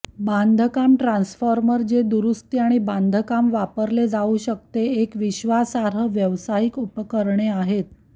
बांधकाम ट्रान्सफॉर्मर जे दुरुस्ती आणि बांधकाम वापरले जाऊ शकते एक विश्वासार्ह व्यावसायिक उपकरणे आहेत